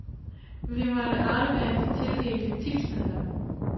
Vi måtte aflevere de tildelte tipsmidler.